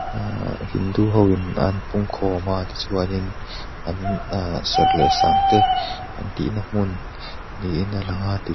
ahh hindu hoin an pungkhawm a tichuanin an ahh serh leh sangte an tihna hmun niin a lang a --